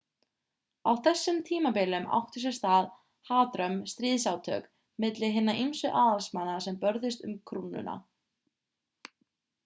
á þessum tímabilum áttu sér stað hatrömm stríðsátök milli hinna ýmsu aðalsmanna sem börðust um krúnuna